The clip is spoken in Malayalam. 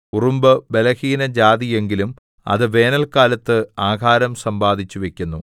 ഉറുമ്പ് ബലഹീനജാതി എങ്കിലും അത് വേനല്ക്കാലത്ത് ആഹാരം സമ്പാദിച്ചു വയ്ക്കുന്നു